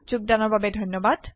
যোগদানৰ বাবে ধন্যবাদ